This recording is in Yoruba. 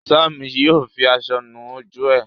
Sam yíò fí aṣọ nù ojú e.